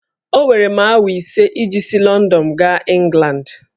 Owere m awa ise iji si Lọndọn gaa Ịngland